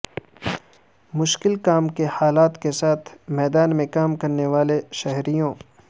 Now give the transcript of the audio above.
مشکل کام کے حالات کے ساتھ میدان میں کام کرنے والے شہریوں